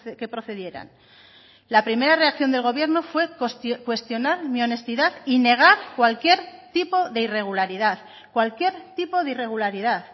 que procedieran la primera reacción del gobierno fue cuestionar mi honestidad y negar cualquier tipo de irregularidad cualquier tipo de irregularidad